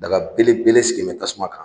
Daga bele bele sigilen tasuma kan.